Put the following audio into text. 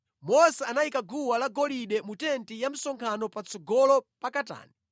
Mose anayika guwa la golide mu tenti ya msonkhano patsogolo pa katani